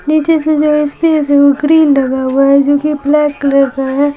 नीचे से जो स्पेस है वो ग्रिल लगा हुआ है जो कि ब्लैक कलर का है।